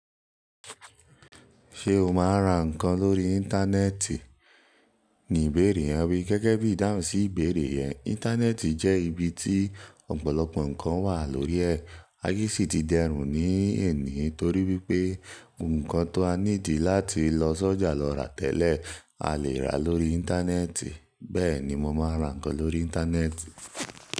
Ṣé o máa ra nǹkan lórí Íńtánẹ́ẹ̀tì? Ni ìbéèrè yen wi. Gẹ́gẹ́ bí ìdáhùn sí ìbéèrè yẹn, Íńtánẹ́ẹ̀tì jẹ́ ibi tí ọ̀pọ̀lọpọ̀ nǹkan wà lórí ẹ̀, aye sì ti dẹrùn ní èní torí wípé ohunkan ta need láti lọ sọ́jà lọ rà tẹ́lẹ̀, a lè rà lórí Íńtánẹ́ẹ̀tì, bẹ́ẹ̀ ni mo máa ra nǹkan lórí Íńtánẹ́ẹ̀tì.